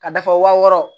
Ka da fɔ wa wɔɔrɔ